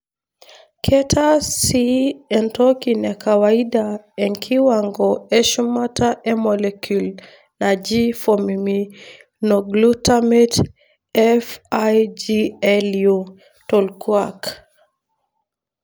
Ketaa sii entokinemekawaida ekiwango eshumata e molecule naji formiminoglutamate (FIGLU) tonkulak.